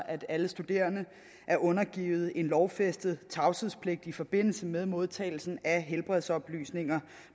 at alle studerende er undergivet en lovfæstet tavshedspligt i forbindelse med modtagelsen af helbredsoplysninger